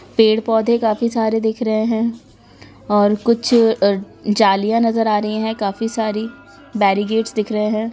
पेड़-पौधे काफी सारे दिख रहें हैं और कुछ अ जालियाँ नजर आ रही हैं काफी सारी बैरिकेड्स दिख रहें हैं।